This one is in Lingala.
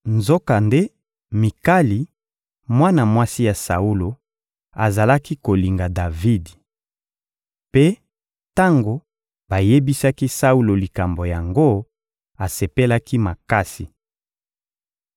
Nzokande Mikali, mwana mwasi ya Saulo, azalaki kolinga Davidi. Mpe tango bayebisaki Saulo likambo yango, asepelaki makasi.